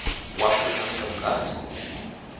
wa khud ano ya vhutanzi